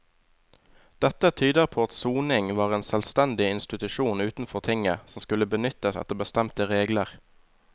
Dette tyder på at soning var en selvstendig institusjon utenfor tinget som skulle benyttes etter bestemte regler.